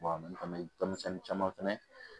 denmisɛnnin caman fɛnɛ